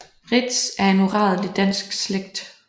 Reedtz er en uradelig dansk slægt